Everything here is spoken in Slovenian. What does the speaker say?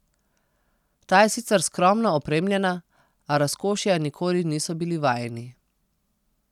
Ta je sicer skromno opremljena, a razkošja nikoli niso bili vajeni.